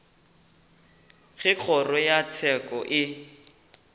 ge kgoro ya tsheko e